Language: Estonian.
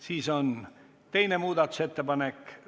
Siin on teine muudatusettepanek.